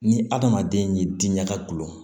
Ni adamaden y'i diinɛ ka gulɔ